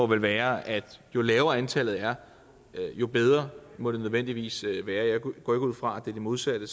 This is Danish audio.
vel være at jo lavere antallet er jo bedre må det nødvendigvis være jeg går ikke ud fra at det er det modsatte